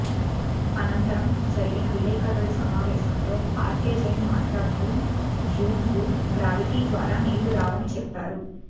అనంతరం జరిగిన విలేకరుల సమావేశంలో ఆర్కె జైన్ మాట్లాడుతూ జూన్కు గ్రావిటి ద్వారా నీళ్లు రావని చెప్పారు